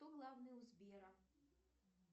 кто главный у сбера